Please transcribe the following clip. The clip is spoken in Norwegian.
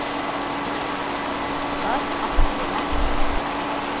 Ottar Askeland